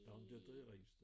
Jo men det rigtig